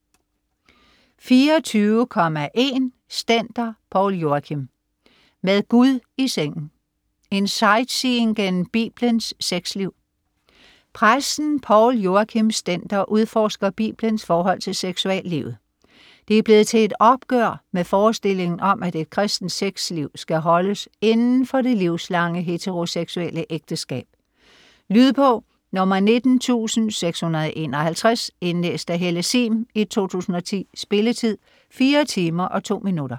24.1 Stender, Poul Joachim: Med Gud i sengen: en sightseeing gennem Biblens sexliv Præsten Poul Joachim Stender udforsker Bibelens forhold til seksuallivet. Det er blevet til et opgør med forestillingen om, at et kristent sexliv skal holdes inden for det livslange heteroseksuelle ægteskab. Lydbog 19651 Indlæst af Helle sihm, 2010. Spilletid: 4 timer, 2 minutter.